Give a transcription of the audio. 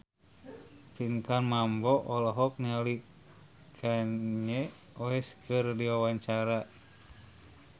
Pinkan Mambo olohok ningali Kanye West keur diwawancara